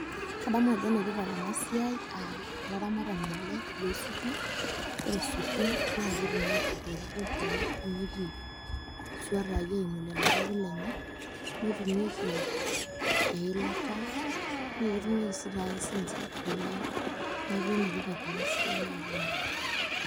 Kadamu ajo enetipat ena siai, olaramatani ele loosukin ore sukin naa ketumieki pooki toki amu ketumieki iswatai eimu lelo papit lenye netumieki eilata naa ketumieki sii taake sininche kule neeku enetipata ena siai oleng'.